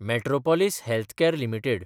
Metropolis Healthcare limited